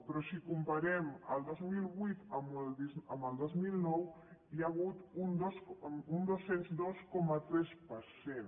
però si comparem el dos mil vuit amb el dos mil nou hi ha hagut un dos cents i dos coma tres per cent